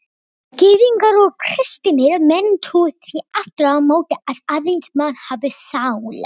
Gyðingar og kristnir menn trúa því aftur á móti að aðeins menn hafi sál.